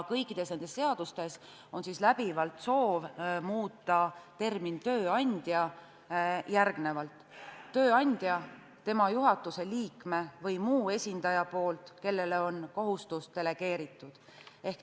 Kõikides nendes seadustes tahetakse termin "tööandja" läbivalt asendada sõnadega "tööandja, tema juhatuse liikme või muu esindaja poolt, kellele on kohustus delegeeritud".